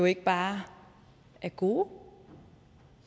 ikke bare er gode